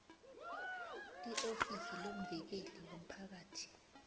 iofisi lomvikeli womphakathi